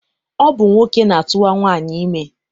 Ọ bụ nwoke na-atụwa nwaanyị ime.